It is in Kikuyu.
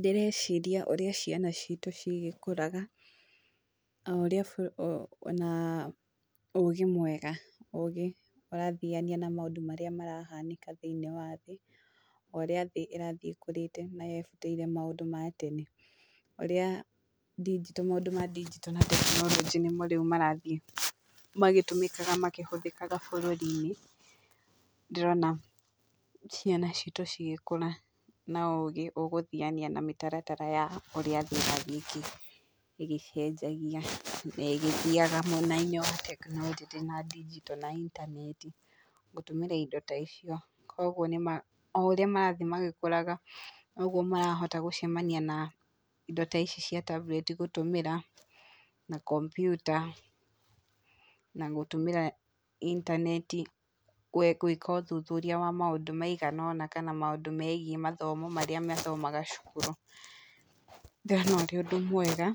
Ndĩreciria ũrĩa ciana citũ cirĩkũraga, o ũrĩa ona ũgĩ mwega, ũgĩ ũrathiania na maũndũ marĩa marahanĩka thĩinĩ wa thĩ, o ũrĩa thĩ ĩrathiĩ ĩkũrĩte na yebutĩire maũndũ ma tene, ũrĩa ndinjito maũndũ ma ndinjito na tekinoronjĩ nĩmo rĩu marathiĩ magĩtũmĩkaga makĩhũthĩkaga bũrũri-inĩ, ndĩrona ciana citũ cigĩkũra na ũgĩ ũgũthiania na mĩtaratara ya ũrĩa thĩ ĩrathiĩ ĩgĩ ĩgĩcenjagia na ĩgĩthiaga mwenainĩ wa tekinoronjĩ na ndinjito na intaneti, gũtũmĩra indo ta icio. Koguo nĩ ma o ũrĩa marathiĩ magĩkũraga, noguo marahota gũcemania na indo ta ici cia tambureti gũtũmĩra, na kompiuta, na gũtũmĩra intaneti gwĩka ũthuthuria wa maũndũ maigana ũna kana maũndũ megiĩ mathomo marĩa mathomaga cukuru, ngona ũrĩ ũndũ mwega